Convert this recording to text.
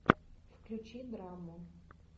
включи драму